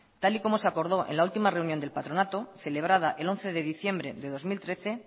tal y como se acordó en la última reunión del patronato celebrada el once de diciembre de dos mil trece